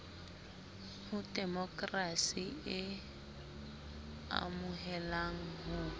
ho demokrasi e amohelang ho